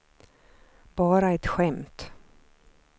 bara ett skämt